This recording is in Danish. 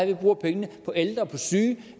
vi bruger pengene på ældre på syge end